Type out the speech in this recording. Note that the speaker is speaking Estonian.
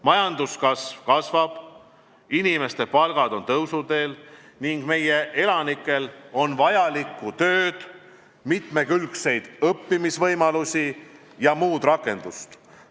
Majanduskasv suureneb, inimeste palgad on tõusuteel ning meie elanikel on vajalikku tööd, mitmekülgseid õppimisvõimalusi ja muud rakendust.